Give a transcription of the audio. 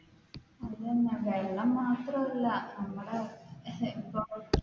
അതെ തന്നെ വെള്ളം മാത്രമല്ല നമ്മുടെ ഇപ്പം,